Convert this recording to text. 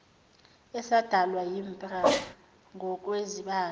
esadalwa yimpra ngokwezibalo